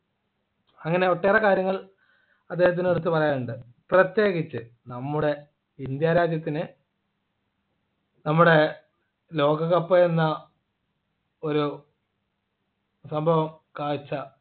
അങ്ങനെ ഒട്ടേറെ കാര്യങ്ങൾ അദ്ദേഹത്തിന് എടുത്തു പറയാനുണ്ട് പ്രത്യേകിച്ച് നമ്മുടെ ഇന്ത്യ രാജ്യത്തിന് നമ്മുടെ ലോകകപ്പ് എന്ന ഒരു സംഭവം കാഴ്ച